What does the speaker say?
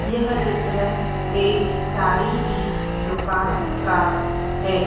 यह चित्र एक साड़ी की दुकान का है।